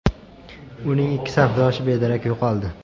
Uning ikki safdoshi bedarak yo‘qoldi.